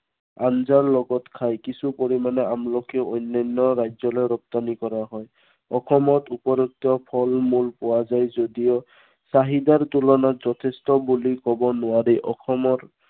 আঞ্জাৰ লগত খায়। কিছু পৰিমানৰ আমলখি অন্য়ান্য় ৰাজ্য়লৈ ৰপ্তানি কৰা হয়। অসমত উপলব্ধ ফল মূল পোৱা যায় যদিও চাহিদাৰ তুলনাত যথেষ্ট বুলি কব নোৱাৰি।